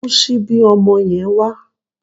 Mú síbí ọmọ yẹn wá